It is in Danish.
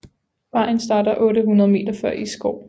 Vejen starter 800 meter før Isgård